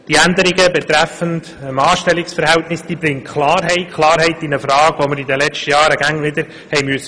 Die Änderung betreffend Anstellungsverhältnis bringt Klarheit in eine Frage, die wir in den letzten Jahren immer wieder stellen mussten.